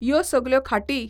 यो सगल्यो खाटी